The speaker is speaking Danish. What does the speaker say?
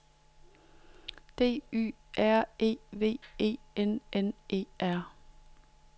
D Y R E V E N N E R